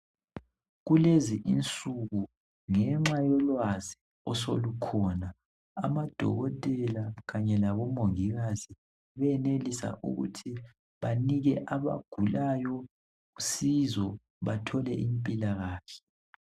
Kulezi insuku ngenxa yolwazi osolukhona amadokotela kanye labo mongikazi benelisa ukuthi banike abagulayo usizo bathole impilakahle.